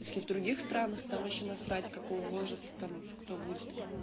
если в других странах там вообще насрать какого возраста там кто будет